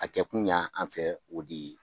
A kɛ kun ya an fɛ o de ye.